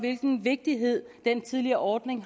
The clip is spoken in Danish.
vigtigheden af den tidligere ordning